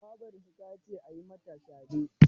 Babarsu ta ce a yi musu shade.